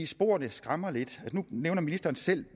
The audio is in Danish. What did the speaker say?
sporene skræmmer lidt nu nævner ministeren selv